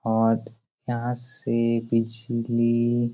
और यहाँ से बिजली--